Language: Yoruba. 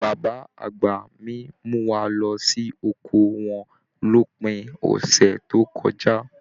Bàbá àgbà mí mú wá lọ sí oko wọn l'opin ọsẹ tó kọjá.